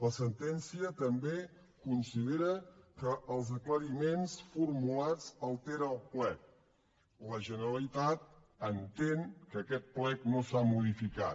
la sentència també considera que els aclariments formulats alteren el plec la generalitat entén que aquest plec no s’ha modificat